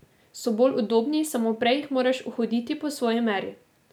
So bolj udobni, samo prej jih moraš uhoditi po svoji meri.